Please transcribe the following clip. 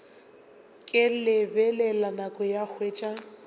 ke lebelela nako ka hwetša